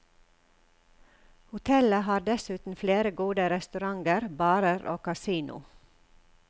Hotellet har dessuten flere gode restauranter, barer og casino.